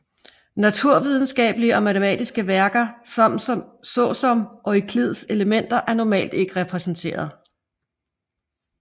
Naturvidenskabelige og matematiske værker såsom Euklids Elementer er normalt ikke repræsenteret